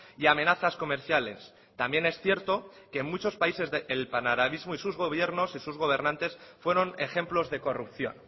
y amenazas comerciales también es cierto que en muchos países el panarabismo y sus gobiernos y sus gobernantes fueron ejemplos de corrupción